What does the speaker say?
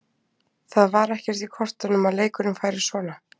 Það var ekkert í kortunum að leikurinn færi svona.